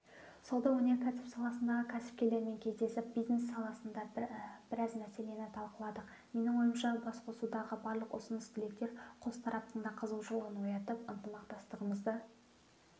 сауда-өнеркәсіп саласындағы кәсіпкерлермен кездесіп бизнес саласында бәраз мәселені талқыладық менің ойымша басқосудағы барлық ұсыныс-тілектер қос тараптың да қызығушылығын оятып ынтымақтастығымызды